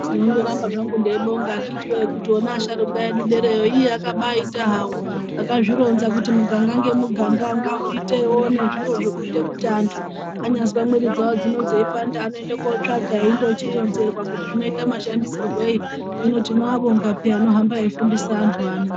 Ndinondoramba zvangu ndeibonga akiti wee kuti ona asharukwa edu edereyo akabaita hawo akazvironza kuti muganga ngemuganga ngawuitewo nezviro zvekuite kuti antu anyazwe mwiri dzawo dzino dzeipanda anoende kundotsvaga eindochironzerwa kuti zvinoita mashandisirwei hino tinoabonga peya anohamba eifundise antu ano.